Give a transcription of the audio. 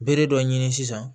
Bere dɔ ɲini sisan